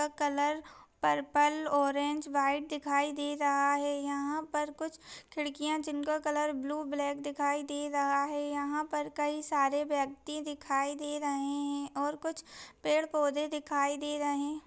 इसका colour purple orange white दिखाई दे रहा है। यहा पर कुछ खिड़कियाँ जिनका कलर ब्लू ब्लॅक दिखाई दे रहा है। यहापर कई सारे व्यक्ति दिखाई दे रहे है और कुछ पेड़ पौधे दिखाई दे रहे --